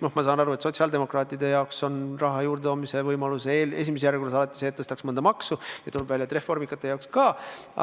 Ma saan aru, et sotsiaaldemokraatide jaoks on raha juurdetoomise võimalus esimeses järjekorras alati see, et tõstaks mõnda maksu, ja tuleb välja, et reformikate jaoks ka,